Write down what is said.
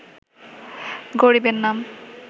গরিবের নাম